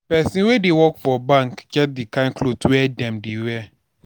people wey dey work for bank get di kind cloth wey dem dey wear.